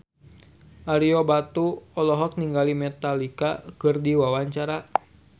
Ario Batu olohok ningali Metallica keur diwawancara